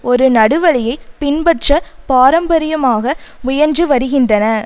ஒரு நடுவழியை பின்பற்ற பாரம்பரியமாக முயன்றுவருகின்றன